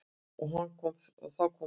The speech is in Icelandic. Og þá kom hún.